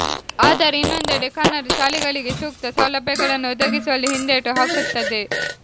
ಆದರೆ ಇನ್ನೊಂದೆಡೆ ಕನ್ನಡ ಶಾಲೆಗಳಿಗೆ ಸೂಕ್ತ ಸೌಲಭ್ಯಗಳನ್ನು ಒದಗಿಸುವಲ್ಲಿ ಹಿಂದೇಟು ಹಾಕುತ್ತದೆ